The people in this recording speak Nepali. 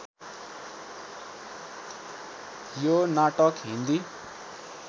यो नाटक हिन्दी